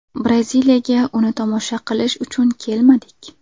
Braziliyaga uni tomosha qilish uchun kelmadik.